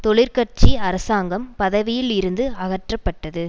தொழிற்கட்சி அரசாங்கம் பதவியில் இருந்து அகற்றப்பட்டது